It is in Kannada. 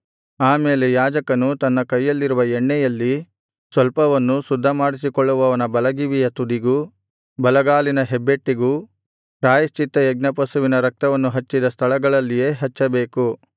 ಆಮೇಲೆ ಯಾಜಕನು ತನ್ನ ಕೈಯಲ್ಲಿರುವ ಎಣ್ಣೆಯಲ್ಲಿ ಸ್ವಲ್ಪವನ್ನು ಶುದ್ಧ ಮಾಡಿಸಿಕೊಳ್ಳುವವನ ಬಲಗಿವಿಯ ತುದಿಗೂ ಬಲಗೈಯ ಹೆಬ್ಬೆರಳಿಗೂ ಬಲಗಾಲಿನ ಹೆಬ್ಬೆಟ್ಟಿಗೂ ಪ್ರಾಯಶ್ಚಿತ್ತಯಜ್ಞ ಪಶುವಿನ ರಕ್ತವನ್ನು ಹಚ್ಚಿದ ಸ್ಥಳಗಳಲ್ಲಿಯೇ ಹಚ್ಚಬೇಕು